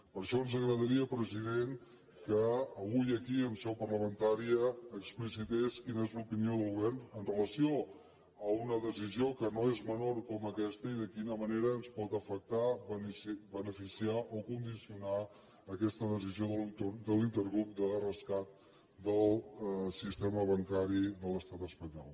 per això ens agradaria president que avui aquí en seu parlamentària explicités quina és l’opinió del go·vern amb relació a una decisió que no és menor com aquesta i de quina manera ens pot afectar beneficiar o condicionar aquesta decisió de l’intergrup de rescat del sistema bancari de l’estat espanyol